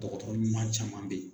Dɔgɔtɔrɔ ɲuman caman bɛ yen.